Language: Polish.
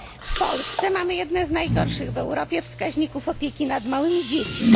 W Polsce mamy jedne z najgorszych w Europie wskaźniki opieki nad małymi dziećmi.